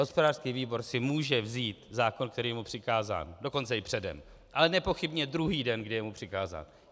Hospodářský výbor si může vzít zákon, který je mu přikázán, dokonce i předem, ale nepochybně druhý den, kdy je mu přikázán.